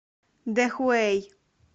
дэхуэй